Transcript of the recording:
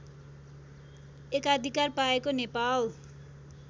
एकाधिकार पाएको नेपाल